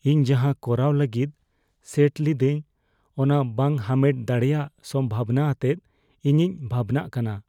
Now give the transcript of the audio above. ᱤᱧ ᱡᱟᱦᱟᱸ ᱠᱚᱨᱟᱣ ᱞᱟᱹᱜᱤᱫ ᱥᱮᱴ ᱞᱤᱫᱟᱹᱧ ᱚᱱᱟ ᱵᱟᱝ ᱦᱟᱢᱮᱴ ᱫᱟᱲᱮᱭᱟᱜ ᱥᱚᱢᱵᱷᱚᱵᱚᱱᱟ ᱟᱛᱮ ᱤᱧᱤᱧ ᱵᱷᱟᱵᱽᱱᱟᱜ ᱠᱟᱱᱟ ᱾